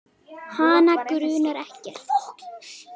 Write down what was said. Hana grunar ekkert.